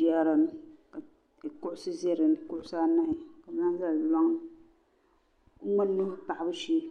Jaarani kuɣusi ʒɛ dinni kuɣusi anahi ŋmani mee paɣabu shee